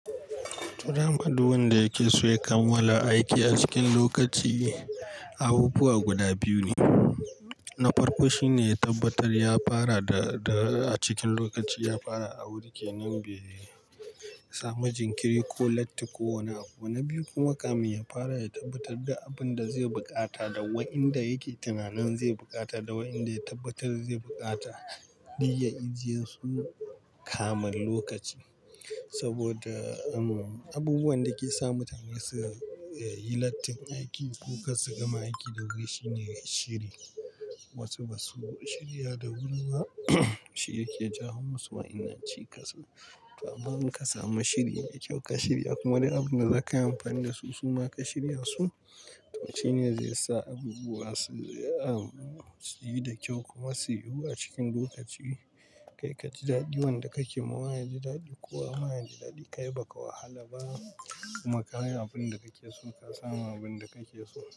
Tura madduwan da yake so ya kamala aiki a cikin lokaci abubuwa guda biyu ne. Na farko shine ya tabbatar ya fara da, da a cikin lokaci ya fara awuri ke nan be ya samu jinkiri ko latti ko wani abu. Na biyu kuma kamin ya fara ya tabbatar da abin da zai bukata da wa inda yake tunanan zai bukata da wa inda ya tabbatar zai bukata duk ya ijiye su kamin lokaci. Saboda umm, abubuwan da ke sa mutane su yi Lattin aiki ko kar su gama aiki da wuri shine shiri. Wasu ba su shirya da wuri ba shi yake jawo musu wa innan cika su. To amma in ka samu shiri me kyau ka shirya kuma dai abin da za ka yi amfani da su suma ka shirya su, wacce ne zai sa abubuwa su a, su yi da kyau kuma su yiwu a cikin lokaci. Kai ka ji daɗi wanda kake ma waye ji daɗi ko wa maya ji daɗi kai baka wahala ba kuma ka yi abin da kake so ka samu abin da kake so.